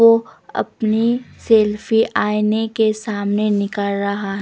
वो अपनी सेल्फी आईने के सामने निकाल रहा--